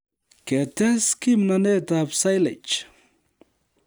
Ketes kimnotetab Silage